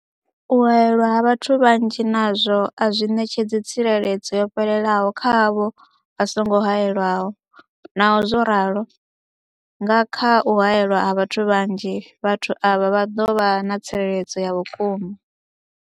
U haelwa ha vhathu vhanzhi nazwo a zwi ṋetshedzi tsireledzo yo fhelelaho kha avho vha songo haelwaho, Naho zwo ralo, nga kha u haelwa ha vhathu vhanzhi, vhathu avha vha ḓo vha na tsireledzo ya vhukuma.